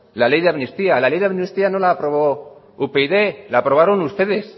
la ley de amnistía le ley de amnistía no lo aprobó upyd la aprobaron ustedes